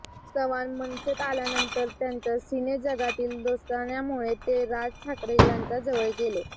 चव्हाण मनसेत आल्यानंतर त्यांच्या सिनेजगतातील दोस्तान्यामुळे ते राज ठाकरे यांच्या जवळ गेले